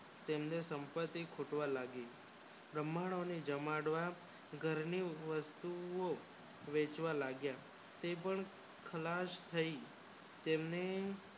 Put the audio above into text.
તેમની સંપત્તિ ખૂટવા લાગી બ્રામણો જમાડવા ઘર ની વસ્તુઓ વેચવા લાગ્યાતે કોઈ ખાલસ થાય તેમને